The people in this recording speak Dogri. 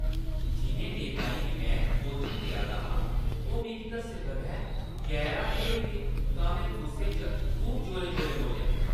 जिʼनें नेताएं गी में कोचिंग देआ दा हा, ओह् मिगी दस्से बगैर गैरहाजर होई गे तां में गुस्से च खूब जोरें-जोरें बोल्लेआ।